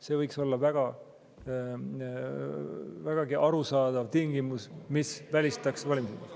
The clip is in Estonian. See võiks olla vägagi arusaadav tingimus, mis välistaks valimisõiguse.